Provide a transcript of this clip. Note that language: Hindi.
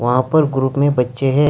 वहां पर ग्रुप में बच्चे है।